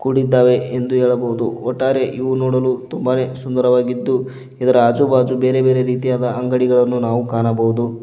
ಕೂಡಿದ್ದಾವೆ ಎಂದು ಹೇಳಬಹುದು ಒಟ್ಟಾರೆ ಇವು ನೋಡಲು ತುಂಬಾನೇ ಸುಂದರವಾಗಿದ್ದುಝೆಡ್ ಇದರ ಆಜು ಬಾಜು ಬೇರೆ ಬೇರೆ ರೀತಿಯಾದ ಅಂಗಡಿಗಳನ್ನು ನಾವು ಕಾಣಬಹುದು.